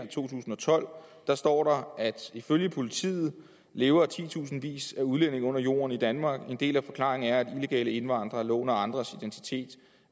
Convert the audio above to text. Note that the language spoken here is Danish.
to tusind og tolv står der at ifølge politiet lever titusindvis af udlændinge under jorden i danmark en del af forklaringen er at illegale indvandrere låner andres identitet